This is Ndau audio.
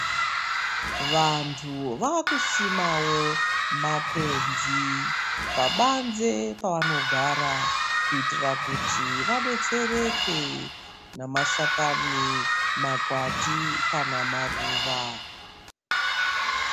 Vantu vakusimawo makwenzi pabanze pavanogara kitira kuti vadetsereke namashakani makwati kana maruva.